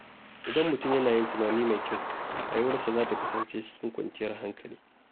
Idan mutum yana yin tunani mai kyau, rayuwarsa za ta kasance cikin kwanciyar hankali.